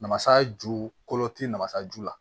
Namasa ju kolo tɛ namasa ju la